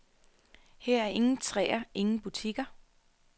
Her er ingen træer, ingen butikker.